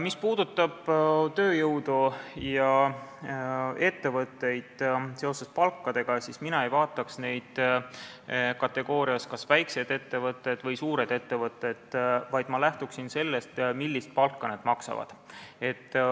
Mis puudutab ettevõtteid ning tööjõudu ja palku, siis mina ei vaataks neid väikeste või suurte ettevõtete kategoorias, vaid ma lähtuksin sellest, millist palka nad maksavad.